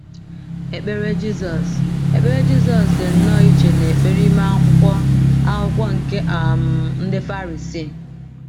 Ekpere Jizọs Ekpere Jizọs dị nnọọ iche n’ekpere ime Akwụkwọ Akwụkwọ nke um ndị Farisii